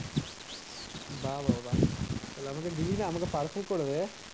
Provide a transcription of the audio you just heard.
বাহ তাহলে আমাকে দিলিনা আমাকে করে দে